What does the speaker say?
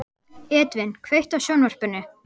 Edvin, kveiktu á sjónvarpinu.